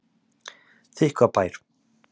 Þykkvabæ